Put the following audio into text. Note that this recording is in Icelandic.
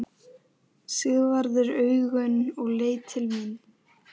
Sigvarður augun og leit til mín.